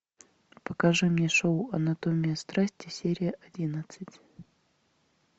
покажи мне шоу анатомия страсти серия одиннадцать